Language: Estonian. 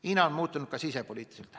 Hiina on muutunud ka sisepoliitiliselt.